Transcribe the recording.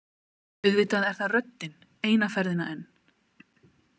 Auðvitað er það röddin eina ferðina enn.